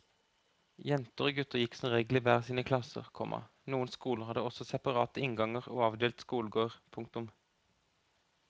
Jenter og gutter gikk som regel i hver sine klasser, komma noen skoler hadde også separate innganger og avdelt skolegård. punktum